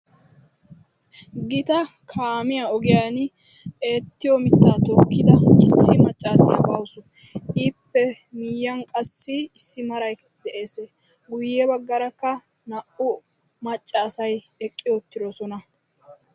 gita kaamiya ogiyani eettiyo mitaa tookida macaasiya de'awusu. ippe miyiyan qassi harayklka de'ees. guye bagaarakka naa'u macaasay eqi utidosona.